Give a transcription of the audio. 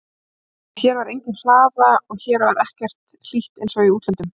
En hér var engin hlaða og hér var ekki hlýtt einsog í útlöndum.